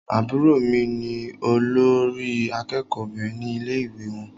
Àbúrò mí ní olórí àkẹ́kọ̀ọ Obìnrin ní ilé ìwé wọn.